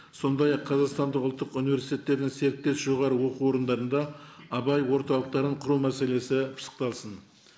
сондай ақ қазақстандық ұлттық университеттерінің серіктес жоғарғы оқу орындарында абай орталықтарын құру мәселесі пысықталсын